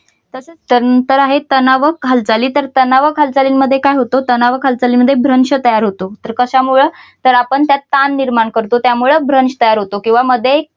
तसच त्यानंतर आहेत तणावक हालचालीं तर तणावक हालचालींमध्ये काय होतं तणावक हालचालींमध्ये भ्रंश तयार होतो. तर कशामुळे तर आपण त्यात ताण निर्माण करतो त्यामुळे भ्रंश तयार होतो. किंवा मध्ये